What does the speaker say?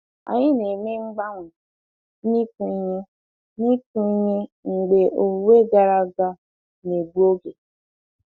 Anyị na-eme mgbanwe n'ịkụ ihe n'ịkụ ihe mgbe owuwe gara aga na-egbu oge.